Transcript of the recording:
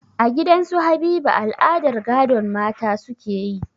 A gidan su Habiba al'adar gadon mata suke yi